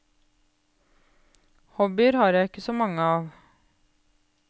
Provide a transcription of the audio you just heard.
Hobbyer har jeg ikke så mange av.